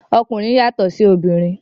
Okunrin yàtọ sí òbinrín.